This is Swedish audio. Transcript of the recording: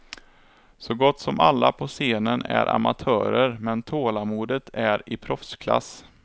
Så gott som alla på scenen är amatörer, men tålamodet är i proffsklass.